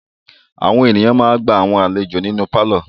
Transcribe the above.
Àwọn ènìyàn ma ń gba àwọn àlejò nínú pálọ̀.